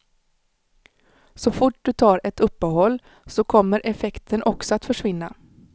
Så fort du tar ett uppehåll så kommer effekten också att försvinna.